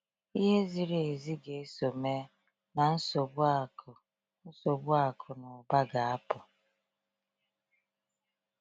Ihe ziri ezi ga-eso mee, na nsogbu akụ nsogbu akụ na ụba ga-apụ.